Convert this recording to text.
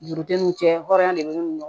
Dugudenw cɛ hɔrɔnya de bɛ ne nɔ